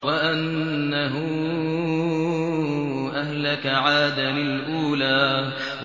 وَأَنَّهُ أَهْلَكَ عَادًا الْأُولَىٰ